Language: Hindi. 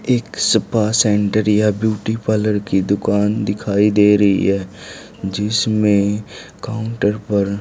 एक सपा सेंटर या ब्यूटी पार्लर की दुकान दिखाई दे रही है जिसपे काउंटर पर--